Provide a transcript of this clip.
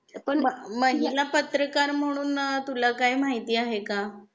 अ पण महिला पत्रकार म्हणून तुला काही माहिती आहे का